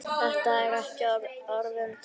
Þetta eru ekki orðin tóm.